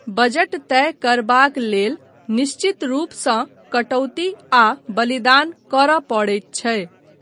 Budget तय करबाक लेल निश्चित रूपसँ कटौती आ बलिदान करय पड़ैत छै।